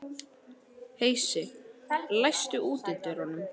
Heisi, læstu útidyrunum.